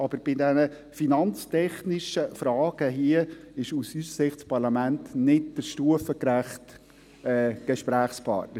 Aber bei diesen finanztechnischen Fragen hier, ist aus unserer Sicht das Parlament nicht der stufengerechte Gesprächspartner.